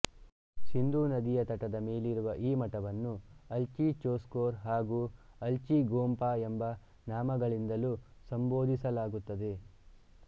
ಸಿಂಧೂ ನದಿಯ ತಟದ ಮೇಲಿರುವ ಈ ಮಠವನ್ನು ಅಲ್ಚಿ ಚೊಸ್ಖೋರ್ ಹಾಗು ಅಲ್ಚಿ ಗೊಂಪಾ ಎಂಬ ನಾಮಗಳಿಂದಲೂ ಸಂಭೋದಿಸಲಾಗುತ್ತದೆ